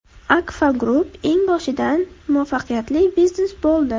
Akfa Group eng boshidan muvaffaqiyatli biznes bo‘ldi.